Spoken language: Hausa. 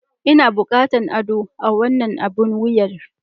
Ina buƙatar ado a wannan abun wuyar.